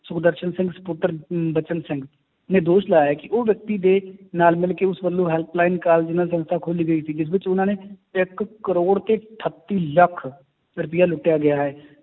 ਸੁਖਦਰਸ਼ਨ ਸਿੰਘ ਸਪੁੱਤਰ ਅਮ ਬਚਨ ਸਿੰਘ ਨੇ ਦੋਸ਼ ਲਾਇਆ ਹੈ ਕਿ ਉਹ ਵਿਅਕਤੀ ਦੇ ਨਾਲ ਮਿਲਕੇ ਉਸ ਵੱਲੋਂ help line ਦੇ ਨਾਲ ਸੰਸਥਾ ਖੋਲੀ ਗਈ ਸੀ ਜਿਸ ਵਿੱਚ ਉਹਨਾਂ ਨੇ ਇੱਕ ਕਰੌੜ ਤੇ ਅਠੱਤੀ ਲੱਖ ਰੁਪਇਆ ਲੁੱਟਿਆ ਗਿਆ ਹੈ